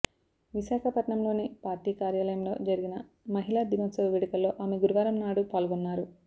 విశాఖపట్నంలోని పార్టీ కార్యాలయంలో జరిగిన మహిళా దినోత్సవ వేడుకల్లో ఆమె గురువారంనాడు పాల్గొన్నారు